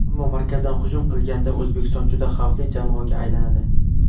Ammo markazdan hujum qilganda O‘zbekiston juda xavfli jamoaga aylanadi.